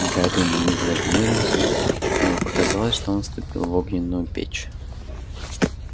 гарри на миг зажмурился ему показалось что он вступил в огненную печь